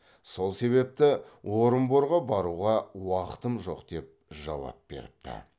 сол себепті орынборға баруға уақытым жоқ деп жауап беріпті